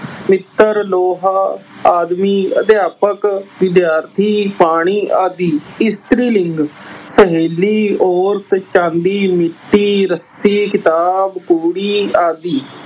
ਪਿੱਤਲ, ਲੋਹਾ ਆਦਿ। ਅਧਿਆਪਕ, ਵਿਦਿਆਰਥੀ, ਪਾਣੀ ਆਦਿ। ਇਸਤਰੀ ਲਿੰਗ- ਸਹੇਲੀ, ਔਰਤ, ਚਾਂਦੀ, ਮਿੱਟੀ, ਰੱਸੀ, ਕਿਤਾਬ, ਕੁੜੀ ਆਦਿ।